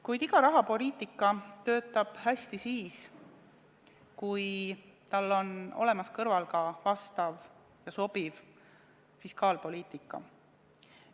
Kuid iga rahapoliitika töötab hästi siis, kui kõrval on olemas ka sobiv fiskaalpoliitika.